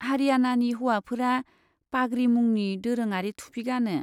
हारियानानि हौवाफोरा पाग्रि मुंनि दोरोङारि थुफि गानो।